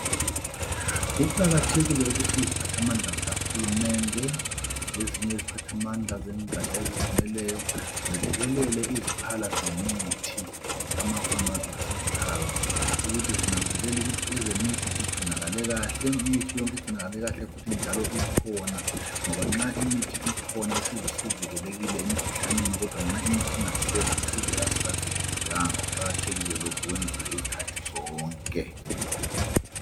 Kuqakathekile ukuthi iziphathamandla zikahulumende, lezinye iziphathamandla zengaja ezizimeleyo, zethekele iziphala zemithi, amapharmaceticals. Ukuthi zinanzelele ukuthi ezemithi zigcinakale kahle, imithi yonke igcinakale kahle, futhi njalo ikhona, ngoba nxa imithi ikhona, isizwe sivikelekile emkhuhlaneni. Kodwa nxa imithi ingasekho, isizwe kasisavikelekanga. Kuqakathekile lokhu, kwenziwe izikhathi zonke.